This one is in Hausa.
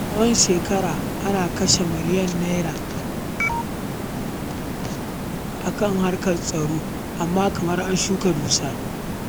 Tsawon shekaru ana kashe tiriliyoyin Naira a harkar tsaro, amma kamar an shuka dusa.